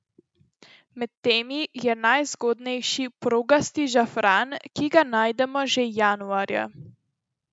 Med temi je najzgodnejši progasti žafran, ki ga najdemo že januarja.